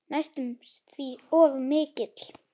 Næstum því of mikill.